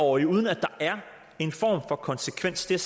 årig uden at der er en form for konsekvens det er